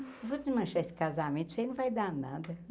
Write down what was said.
Eu vou desmanchar esse casamento, isso aí não vai dar nada.